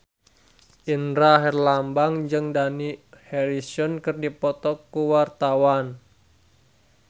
Indra Herlambang jeung Dani Harrison keur dipoto ku wartawan